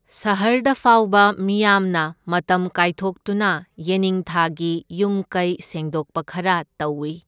ꯁꯍꯔꯗ ꯐꯥꯎꯕ ꯃꯤꯌꯥꯝꯅ ꯃꯇꯝ ꯀꯥꯏꯊꯣꯛꯇꯨꯅ ꯌꯦꯅꯤꯡꯊꯥꯒꯤ ꯌꯨꯝ ꯀꯩ ꯁꯦꯡꯗꯣꯛꯄ ꯈꯔ ꯇꯧꯏ꯫